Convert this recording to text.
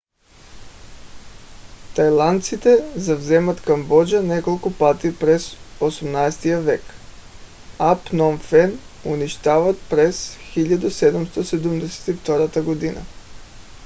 тайландците завземат камбоджа няколко пъти през 18 век а пном фен унищожават през 1772 г